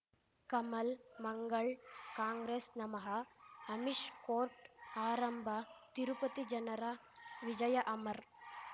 ಕಮಲ್ ಮಂಗಳ್ ಕಾಂಗ್ರೆಸ್ ನಮಃ ಅಮಿಷ್ ಕೋರ್ಟ್ ಆರಂಭ ತಿರುಪತಿ ಜನರ ವಿಜಯ ಅಮರ್